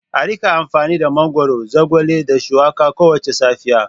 A rika amfani da mangwaro, zogale da shuwaka kowace safiya.